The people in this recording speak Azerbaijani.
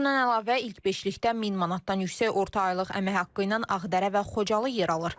Bundan əlavə, ilk beşlikdə 1000 manatdan yüksək orta aylıq əmək haqqı ilə Ağdərə və Xocalı yer alır.